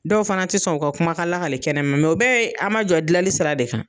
Dɔw fana tɛ sɔn o ka kuma ka lagali kɛnɛma mɛ o bɛɛ ye a ma jɔ dilali sira de kan.